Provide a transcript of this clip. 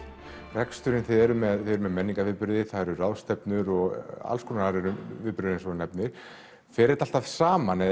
reksturinn þið eruð með menningarviðburði ráðstefnur alls konar viðburðir eins og þú nefnir fer þetta alltaf saman eða